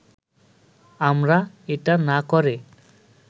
আমরা এটা না করে